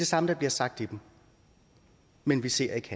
samme der bliver sagt i dem men vi ser ikke